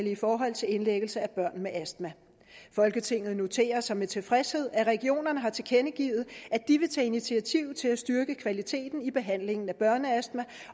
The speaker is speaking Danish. i forhold til indlæggelse af børn med astma folketinget noterer sig med tilfredshed at regionerne har tilkendegivet at de vil tage initiativ til at styrke kvaliteten i behandlingen af børneastma